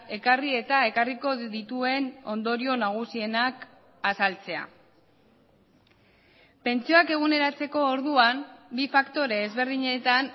ekarri eta ekarriko dituen ondorio nagusienak azaltzea pentsioak eguneratzeko orduan bi faktore ezberdinetan